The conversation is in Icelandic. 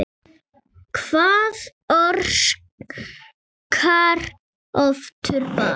Hvað orsakar offitu barna?